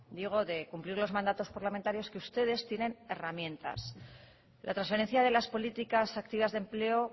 digo de cumplir los mandatos parlamentarios ustedes tienen herramientas la transferencia de las políticas activas de empleo